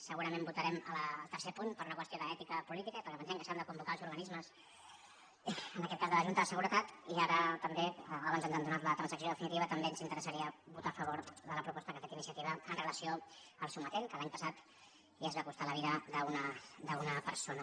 segurament votarem el tercer punt per una qüestió d’ètica política i perquè pensem que s’han de convocar els organismes en aquest cas de la junta de seguretat i ara també abans ens han donat la transacció definitiva ens interessaria votar a favor de la proposta que ha fet iniciativa amb relació al sometent que l’any passat ja ens va costar la vida d’una persona